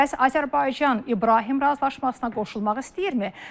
Bəs Azərbaycan İbrahim razılaşmasına qoşulmaq istəyirmi?